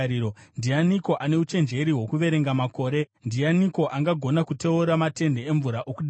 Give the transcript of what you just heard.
Ndianiko ane uchenjeri hwokuverenga makore? Ndianiko angagona kuteura matende emvura okudenga,